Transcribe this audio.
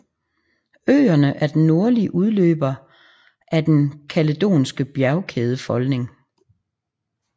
Øerne er den nordlige udløber af den kaledonske bjergkædefolding